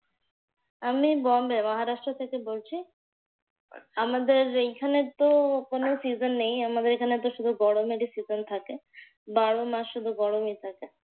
আমি বম্বে, মহারাষ্ট্র থেকে বলছি। আমাদের এইখানে তো কোন season নেই। আমাদের এইখানে তো গরমেরই season থাকে। বারোমাস গরমই থাকে।